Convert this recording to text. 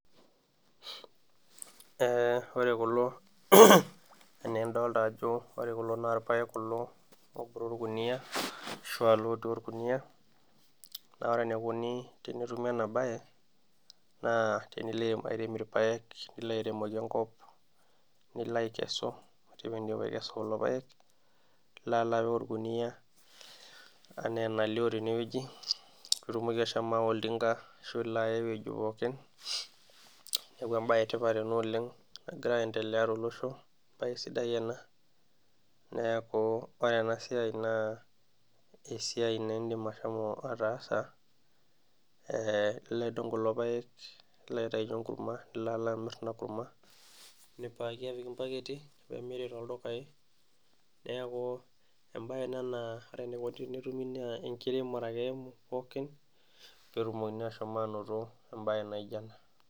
Ore kulo ena enidolita ajo irpaek kulo oobore orkunia ashua lotii orkuniyia, naa ore enikoni tenetumi ena bae naa tenilo airem irpaek nilo airemoki enkop, nilo aikesu ,nilo alo apik orkuniyia ena enalio teneweji ,pee itumoki ashomo aawa oltinka ashu ilo aya eweji pookin, neeku embae etipat ena oleng nagira aendelea tolosho naa isidan ena, neeku ,ore ena siai naa esiai naa indim ashomo atasa ,ilo aidong kulo paek nilo aitayu enkurma nilo alo amir ina kurma ,nipik irbaketi pee emiri toldukai ,neeku embae ena naa ore enikoni tenetumi naa enkiremore ake pookin pee etumokini anoto embae naijo ena.